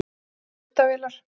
Það eru myndavélar.